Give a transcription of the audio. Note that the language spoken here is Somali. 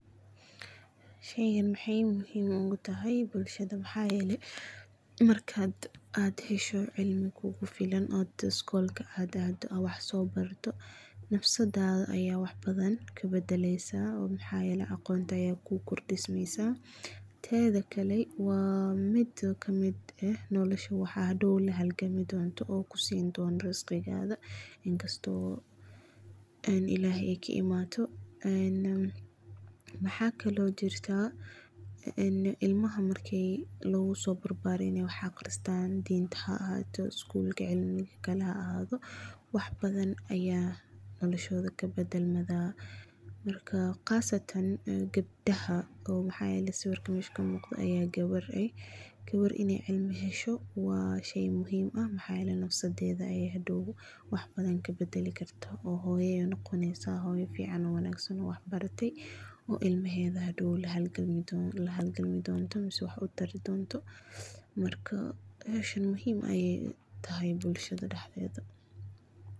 Sheygaan maxaay muxiim ogutahay bulshada, maxayele markad aad xesho cilmi kulafilan oo dadka school aad ado add wah sobarta, nafsadada aya waxbadan kabadaleysa, oo maxa yele agonta aya kukordismeysa, tedakale wa mid kamid eh nolosha, waxa xadow lahalgami donto oo kusindona risqigaga, inkasto oo en illahey kaimato, een maxakalo jirta een imlaha markay lugada lagusobarbariyo wax aqristan dinta aahato school ama midkale haahato, waxbadan aya noloshoda kabadalmada, marka qaasatan gabdaxa oo maha ladihijiree maxa yele sawirka mesha kamugdo aya gawaar eh, gawaar inay cilmi hesho wa shey muxiim ah maxayele nafsadeda ayay hadow wax badan kabadalikarta, oo nogoneysa hoyo fican oo wanagsan, oo wax baratey, oo ilmaheda hadow lahalgami donto mise wah utari donto, marka meshan muxiim ay utaxay bulshada daxdeda.